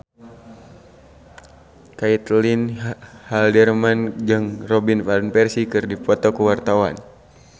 Caitlin Halderman jeung Robin Van Persie keur dipoto ku wartawan